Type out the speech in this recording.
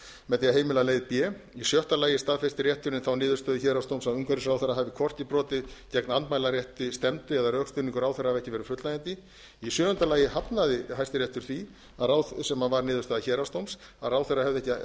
með því að heimila leið b í sjötta lagi staðfestir hæstiréttur þá niðurstöðu héraðsdóms að umhverfisráðherra hafi hvorki brotið gegn andmælarétti stefndu eða að rökstuðningur ráðherra hafi ekki verið fullnægjandi í sjöunda lagi hafnaði hæstiréttur því sem var niðurstaða héraðsdóms að ráðherra hefði ekki